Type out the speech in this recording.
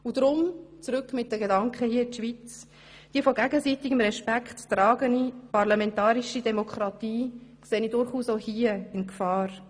Deshalb, mit den Gedanken zurück in die Schweiz kommend, sehe ich eine von gegenseitigem Respekt getragene parlamentarische Demokratie durchaus auch hier bei uns in Gefahr.